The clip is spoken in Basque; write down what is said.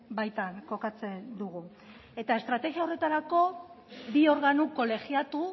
baitan kokatzen dugu eta estrategia horretarako bi organo kolegiatu